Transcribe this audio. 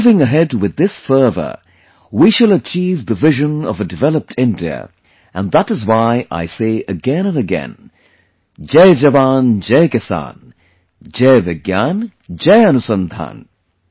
Moving ahead with this fervour, we shall achieve the vision of a developed India and that is why I say again and again, 'Jai JawanJai Kisan', 'Jai VigyanJai Anusandhan'